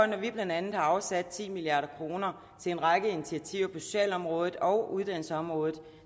når vi blandt andet har afsat ti milliard kroner til en række initiativer på socialområdet og uddannelsesområdet